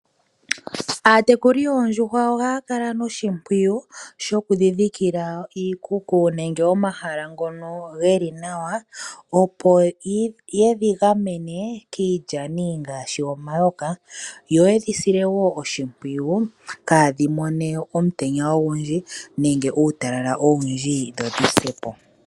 Aatekuli yoondjuhwa ohaya kala no shimpwiyu shokudhi dhikila iikuku nenge omahala ngono geli nawa opo yedhi gamene kiilyani ngaashi omayoka, yo yedhi sile wo oshimpwiyu kaadhi mone omutenya ogundji nenge uutalala owundji dho dhi se po.